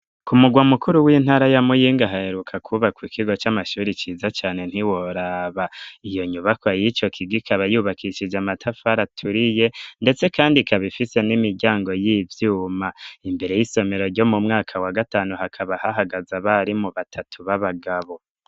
Ku mugwa mukuru w'intara ya muyinga ahaheruka kwubakwa ikigo c'amashuri ciza cane ntiworaba iyo nyubako y'ico kigikaba yubakishije amatafara aturiye, ndetse, kandi kabifise n'imiryango y'ivyuma imbere y'isomero ryo mu mwaka wa gatanu hakaba ahahagaza bari mu batatu b'abagabo.